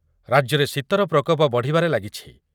ରାଜ୍ୟରେ ଶୀତର ପ୍ରକୋପ ବଢ଼ିବାରେ ଲାଗିଛି ।